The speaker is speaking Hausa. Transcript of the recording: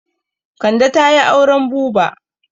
Kande ta yi auren buba.